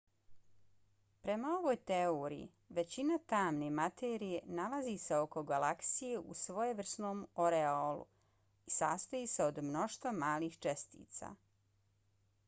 prema ovoj teoriji većina tamne materije nalazi se oko galaksije u svojevrsnom oreolu i sastoji se od mnoštva malih čestica